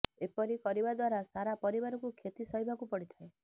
ଏପରି କରିବା ଦ୍ବାରା ସାରା ପରିବାରକୁ କ୍ଷତି ସହିବାକୁ ପଡ଼ିଥାଏ